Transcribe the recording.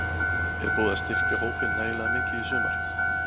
Er búið að styrkja hópinn nægilega mikið í sumar?